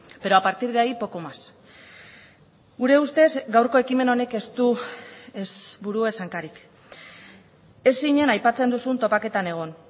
pero a partir de ahí poco más gure ustez gaurko ekimen honek ez du ez buru ez hankarik ez zinen aipatzen duzun topaketan egon